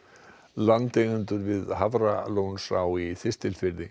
landeigendur við Hafralónsá í Þistilfirði